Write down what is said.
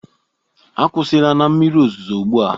Akwụsịla na mmiri ozuzo ugbu a!